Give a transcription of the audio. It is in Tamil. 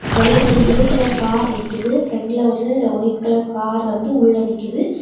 வெளிய ஒரு ப்ளூ கலர் கார் நிக்குது. பிரெண்ட்ல ஒரு ஒயிட் கலர் கார் வந்து உள்ள நிக்குது.